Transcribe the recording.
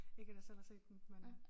Ikke at jeg selv har set den men